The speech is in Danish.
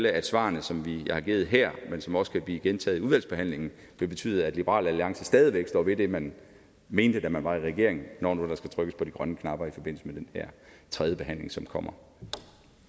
at svarene som vi har givet her men som også kan blive gentaget i udvalgsbehandlingen vil betyde at liberal alliance stadig væk står ved det man mente da man var i regering når nu der skal trykkes på de grønne knapper i forbindelse med den tredjebehandling som kommer